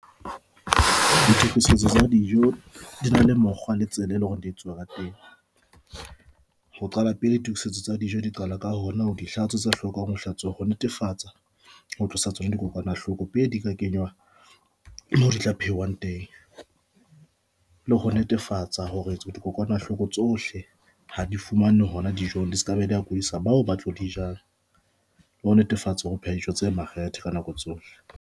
Ditokisetso tsa dijo di na le mokgwa le tsela eo e leng hore di etsuwa ka teng ho qala pele tokisetso tsa dijo di qala ka hona hore dihlatswa tse hlokang ho hlatsuwa ho netefatsa ho tlosa tsona dikokwanahloko pele di ka kenywa moo ditlo pheuwang teng le ho netefatsa hore dikokwanahloko tsohle ha di fumanwe hona dijong e se ke be di kodisa bao ba tlo di jean le ho netefatsa ho pheha dijo tse makgethe ka nako tsohle.